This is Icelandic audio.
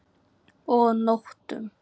Og nóttum!